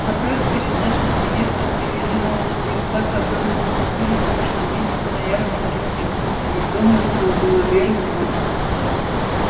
как раз перед нашим приездом привели нового жеребца которого мы купили в прошлом месяце на ярмарке в кентукки и дома всё было вверх дном